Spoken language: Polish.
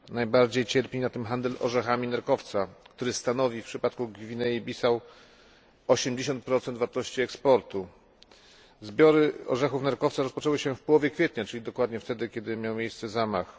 Najbardziej cierpi na tym handel orzechami nerkowca, który stanowi w przypadku Gwinei Bissau 80 wartości eksportu. Zbiory orzechów nerkowca rozpoczęły się w połowie kwietnia, czyli dokładnie wtedy, kiedy miał miejsce zamach.